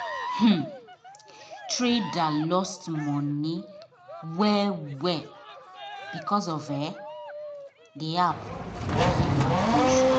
um trader um lost money well well because of um the app wen malfunction